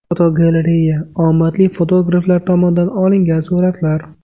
Fotogalereya: Omadli fotograflar tomonidan olingan suratlar.